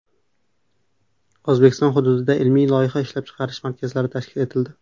O‘zbekiston hududlarida ilmiy-loyiha ishlab chiqarish markazlari tashkil etildi.